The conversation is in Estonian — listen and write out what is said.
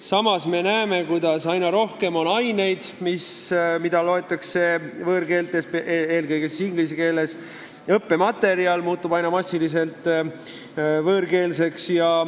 Samas me näeme, kuidas aina rohkem on aineid, mida loetakse võõrkeeltes, eelkõige inglise keeles, ja õppematerjal muutub aina massilisemalt võõrkeelseks.